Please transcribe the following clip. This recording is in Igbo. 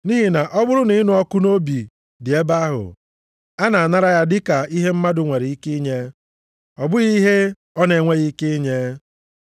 Nʼihi na ọ bụrụ na ịnụ ọkụ nʼobi dị ebe ahụ, a na-anara ya dịka ihe mmadụ nwere ike inye, ọ bụghị ihe ọ na-enweghị ike inye.